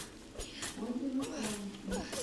отзывы солнечный